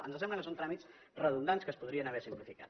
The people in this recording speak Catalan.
ens sembla que són tràmits redundants que es podrien haver simplificat